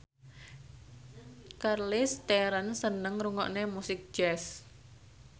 Charlize Theron seneng ngrungokne musik jazz